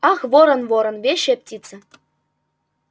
ах ворон ворон вещая птица